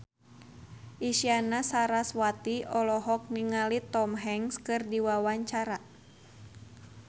Isyana Sarasvati olohok ningali Tom Hanks keur diwawancara